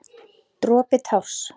Dropi társ.